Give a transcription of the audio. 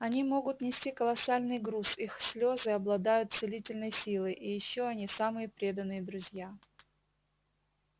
они могут нести колоссальный груз их слезы обладают целительной силой и ещё они самые преданные друзья